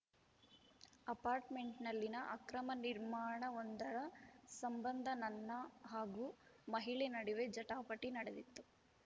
ಅಪಾರ್ಟ್‌ಮೆಂಟ್‌ನಲ್ಲಿನ ಅಕ್ರಮ ನಿರ್ಮಾಣವೊಂದರ ಸಂಬಂಧ ನನ್ನ ಹಾಗೂ ಮಹಿಳೆ ನಡುವೆ ಜಟಾಪಟಿ ನಡೆದಿತ್ತು